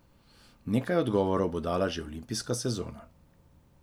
Nekaj odgovorov bo dala že olimpijska sezona.